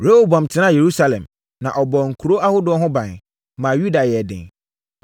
Rehoboam tenaa Yerusalem, na ɔbɔɔ nkuro ahodoɔ ho ban, maa Yuda yɛɛ den.